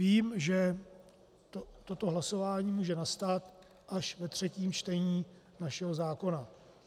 Vím, že toto hlasování může nastat až ve třetím čtení našeho zákona.